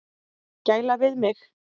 Gæla við mig.